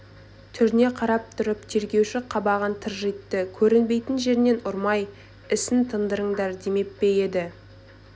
түріне қарап тұрып тергеуші қабағын тыржитты көрінбейтін жерінен ұрмай ісін тындырыңдар демеп пе еді